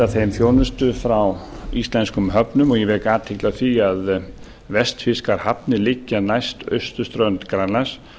þeim þjónustu frá íslenskum höfnum og ég vek athygli á því að vestfirskar hafnir liggja næst austurströnd grænlands